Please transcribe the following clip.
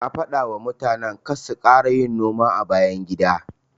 Na dafawa mutanen karsu kara yin noma a bayan gida.